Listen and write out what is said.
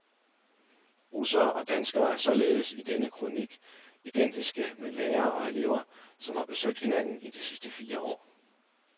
Russere og danskere er således i denne kronik identiske med lærere og elever, som har besøgt hinanden i de sidste fire år.